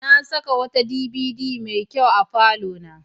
Na saka wata DVD mai kyau a falona.